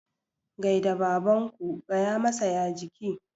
Gai da babanku. gaya masa "ya jiki"!